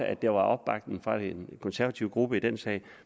at der var opbakning fra den konservative gruppe i den sag